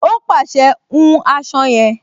Ó pàṣẹ, "hun aṣọ yẹn"